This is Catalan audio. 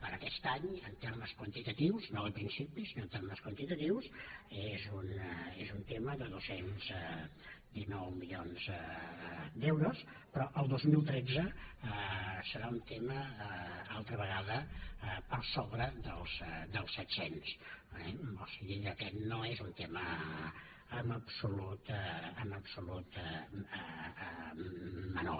per aquest any en termes quantitatius no de principis sinó en termes quantitatius és un tema de dos cents i dinou milions d’euros però el dos mil tretze serà un tema altra vegada per sobre dels set cents eh o sigui que aquest no és un tema en absolut menor